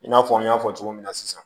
I n'a fɔ n y'a fɔ cogo min na sisan